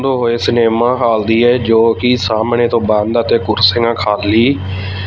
ਦੋ ਹੋਏ cinema hall ਦੀ ਹੈ ਜੋ ਕਿ ਸਾਹਮਣੇ ਤੋਂ ਬੰਦ ਅਤੇ ਕੁਰਸੀਆਂ ਖਾਲੀ--